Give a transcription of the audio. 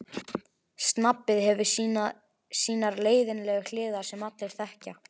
Snobbið hefur sínar leiðinlegu hliðar sem allir þekkja.